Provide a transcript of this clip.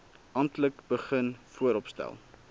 amptelik begin vooropstel